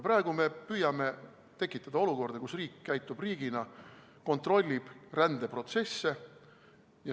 Praegu me püüame tekitada olukorda, kus riik käitub riigina, kontrollib rändeprotsesse.